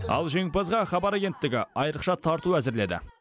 ал жеңімпазға хабар агенттігі айрықша тарту әзірледі